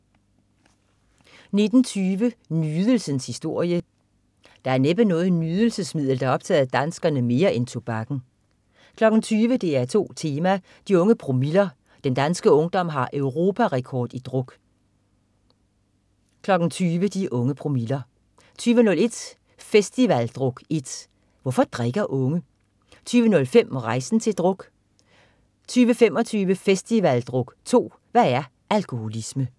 19.20 Nydelsens historie. Der er næppe noget nydelsesmiddel der har optaget danskerne mere end tobakken 20.00 DR2 Tema: De unge promiller. Den danske ungdom har europa-rekord i druk 20.00 De unge promiller 20.01 Festivaldruk 1. "Hvorfor drikker unge?" 20.05 Rejsen til druk 20.25 Festivaldruk 2. "Hvad er alkoholisme?"